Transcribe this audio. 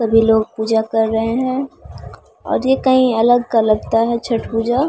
सभी लोग पूजा कर रहे है और ये कही अलग का लगता है छठ पूजा --